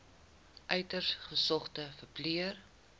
uiters gesogde verpleër